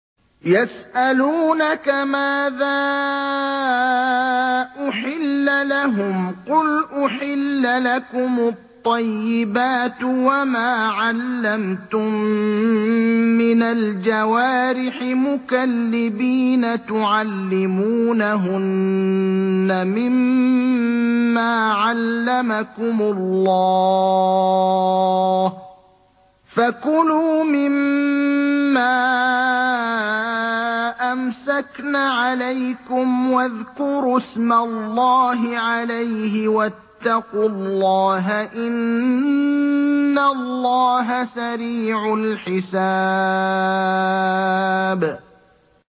يَسْأَلُونَكَ مَاذَا أُحِلَّ لَهُمْ ۖ قُلْ أُحِلَّ لَكُمُ الطَّيِّبَاتُ ۙ وَمَا عَلَّمْتُم مِّنَ الْجَوَارِحِ مُكَلِّبِينَ تُعَلِّمُونَهُنَّ مِمَّا عَلَّمَكُمُ اللَّهُ ۖ فَكُلُوا مِمَّا أَمْسَكْنَ عَلَيْكُمْ وَاذْكُرُوا اسْمَ اللَّهِ عَلَيْهِ ۖ وَاتَّقُوا اللَّهَ ۚ إِنَّ اللَّهَ سَرِيعُ الْحِسَابِ